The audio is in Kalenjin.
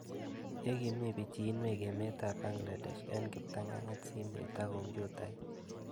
Ye kimii pichinwek emet ab Bangladesh eng' kiptang'anyit simet ak kompuyitait